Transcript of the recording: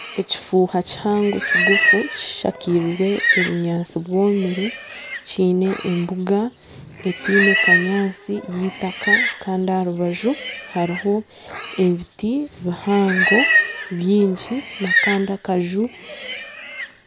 Ekifuuha kihango kigufu kishakirwe obunyaatsi bwomire kiine embuga etaine kanyaatsi y'eitaka kandi aha rubaju hariho ebiti bihango byingi n'akandi akaju.